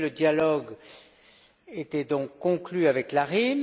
le dialogue était donc conclu avec l'ARYM.